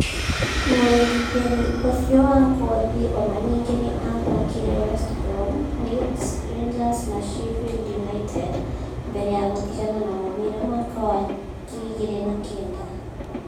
Mũrũgitĩri ũcio wa ngothi o na ningĩ nĩ aathakĩire West Brom, Leeds, Rangers na Sheffield United, mbere ya gũtigana na mũbira mwaka wa 2009.